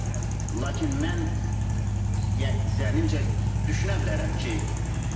Lakin mən zənnimcə düşünə bilərəm ki, necə ola bilər.